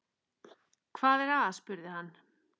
Hvað er að? spurði hann.